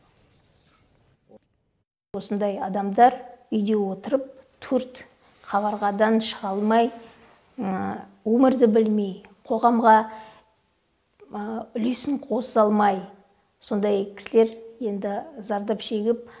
осындай адамдар үйде отырып төрт қабырғадан шыға алмай өмірді білмей қоғамға үлесін қоса алмай сондай кісілер енді зардап шегіп